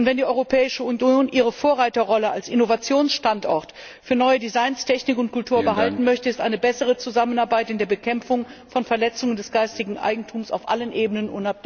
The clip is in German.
Wenn die Europäische Union ihre Vorreiterrolle als Innovationsstandort für neue Designs, Technik und Kultur behalten möchte, ist eine bessere Zusammenarbeit bei der Bekämpfung von Verletzungen des geistigen Eigentums auf allen Ebenen